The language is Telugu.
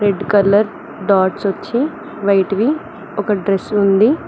రెడ్ కలర్ డాట్స్ వచ్చి వైట్ వి ఒక డ్రెస్ ఉంది.